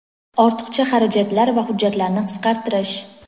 ortiqcha xarajatlar va hujjatlarni qisqartirish;.